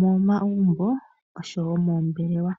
momagumbo oshowo moombelewa.